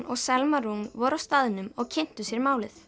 og Selma Rún voru á staðnum og kynntu sér málið